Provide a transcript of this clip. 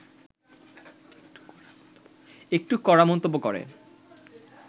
একটু কড়া মন্তব্য করে